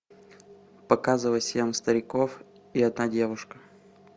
показывай семь стариков и одна девушка